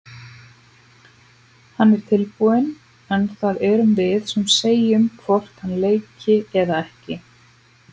Hann er tilbúinn en það erum við sem segjum hvort hann leiki eða ekki.